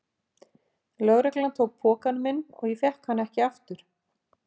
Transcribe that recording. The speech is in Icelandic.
Lögreglan tók pokann minn og ég fékk hann ekki aftur.